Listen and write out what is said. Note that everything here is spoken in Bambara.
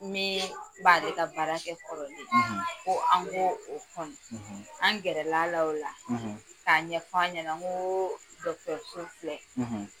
Min b'ale ka baarakɛ kɔrɔlen, ko an ko o kɔnɔ an gɛrɛl'a la o la k'a ɲɛf'an ɲɛna n ko filɛ